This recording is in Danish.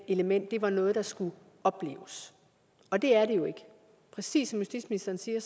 element var noget der skulle opleves og det er det jo ikke præcis som justitsministeren siger